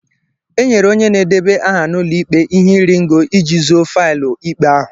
e nyere onye na-edeba aha n'ụlọ ikpe ihe iri ngo iji zoo faịlụ ikpe ahụ.